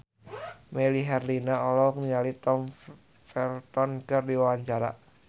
Melly Herlina olohok ningali Tom Felton keur diwawancara